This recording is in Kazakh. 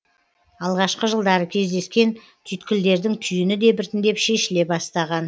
алғашқы жылдары кездескен түйткілдердің түйіні де біртіндеп шешіле бастаған